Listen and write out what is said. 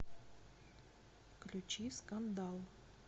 включи скандал